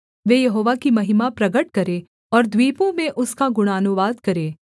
वे Jehovah की महिमा प्रगट करें और द्वीपों में उसका गुणानुवाद करें